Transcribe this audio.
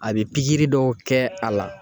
A bi pikiri dɔw kɛ a la